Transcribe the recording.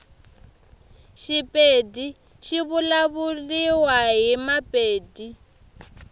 shipedi shivulavuliwa himapedi